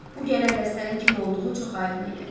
Bu gələn dəstənin kim olduğu çox aydın idi.